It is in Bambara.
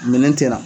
Minɛn tɛ na